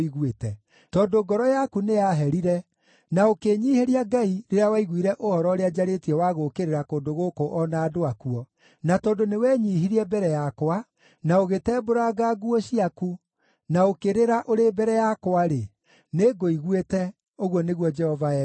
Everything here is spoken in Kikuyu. Tondũ ngoro yaku nĩyaherire, na ũkĩĩnyiihĩria Ngai rĩrĩa waiguire ũhoro ũrĩa njarĩtie wa gũũkĩrĩra kũndũ gũkũ o na andũ akuo, na tondũ nĩwenyiihirie mbere yakwa, na ũgĩtembũranga nguo ciaku, na ũkĩrĩra ũrĩ mbere yakwa-rĩ, nĩngũiguĩte, ũguo nĩguo Jehova ekuuga.